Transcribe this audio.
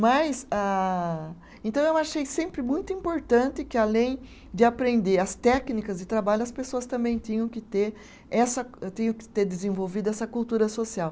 Mas, ah então eu achei sempre muito importante que além de aprender as técnicas de trabalho, as pessoas também tinham que ter essa, tinham que ter desenvolvido essa cultura social.